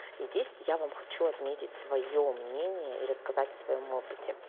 и здесь я вам хочу отметить своё мнение и рассказать о своём опыте